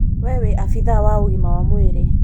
we wĩ abithaa wa ũgima wa mwĩrĩ